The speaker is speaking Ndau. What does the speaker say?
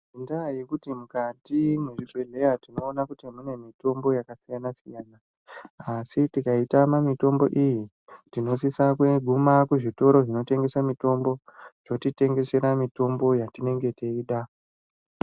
Ngendaa yekuti mukati mwezvibhedhlera tinoona kuti mune mutombo yakasiyana siyana asi tikaitama mitombo iyi tinosisa kuguma kuzvitoro zvinotengesa mitombo yatinenge teida.